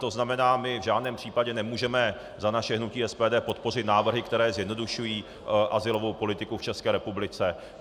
To znamená, my v žádném případě nemůžeme za naše hnutí SPD podpořit návrhy, které zjednodušují azylovou politiku v České republice.